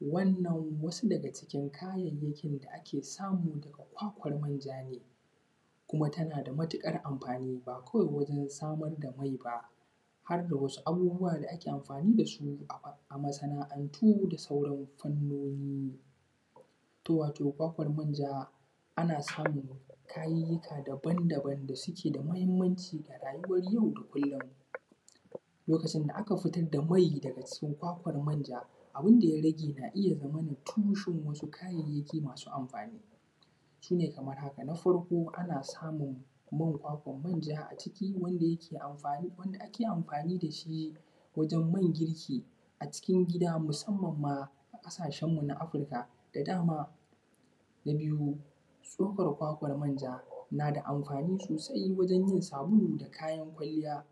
Wannan wasu daga cikin kayayyakin da ake samu daga kwakwar manja ne kuma tana da matuƙar amfani, ba kawai wajen samar da mai ba, har da wasu abubuwa da ake amfani dasu a masana’antu da sauran fannoni. To wato, kwakwar manja ana samun kayika daban-daban da suke da muhimmanci a rayuwar yau da kullum, lokacin da aka fitar da mai daga cikin kwakwar manja, abun da ya rage na iya zama tushen wasu kayayyaki masu amfani, su ne kamar haka, na farko na farko ana samun man kwakwar manja a ciki, wanda yake wanda ake amfani dashi wajen man girki acikin gida, musamman ma a ƙasashen mu na Afrika da dama, na biyu, tsokar kwakwar manja nada amfani sosai wajen yin sabulu da kayan kwalliya,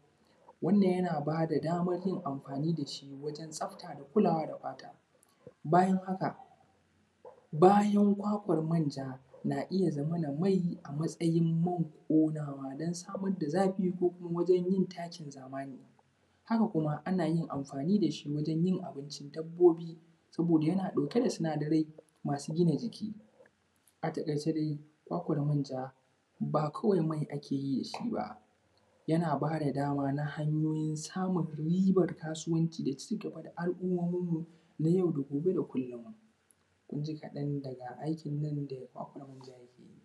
wannan yana bada damar yin amfani da shi wajen tsafta da kulawa da fata. bayan haka bayan kwakwar manja na iya mai a matsayin man ƙonawa don samar da zafi ko kuma wajen yin takin zamani, haka kuma, ana yin amfani dashi wajen yin abincin dabbobi, saboda yana ɗauke da sinadarai masu gina jiki, a taƙaice dai, kwakwar manja ba kawai mai ake yi da shi ba, yana ba da daman a hanyoyin samun ribar kasuwanci da cigaba da al’ummomin mu na yau da gobe da kullum ma, kun ji kaɗan daga aikin nan da kwakwar manja yake yi.